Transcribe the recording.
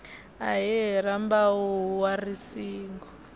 ahee rambau wa ri singo